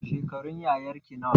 Shekarun yayarki nawa